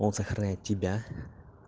он сохранит тебя